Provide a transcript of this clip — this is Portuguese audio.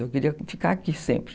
Eu queria ficar aqui sempre.